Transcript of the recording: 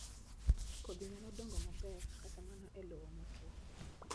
Kodhi nyalo dongo maber kata mana e lowo motwo